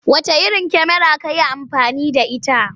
Wacce kyamara ka yi amfani da ita?